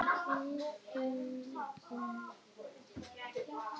Það væri ekki í fyrsta skipti sem slíkur dómur félli.